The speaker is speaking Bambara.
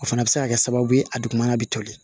O fana bɛ se ka kɛ sababu ye a dugumana bɛ toli